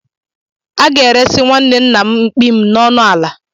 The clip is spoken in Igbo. A ga-eresị nwanne nna m mkpi m na ọnụ ala